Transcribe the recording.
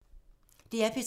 DR P3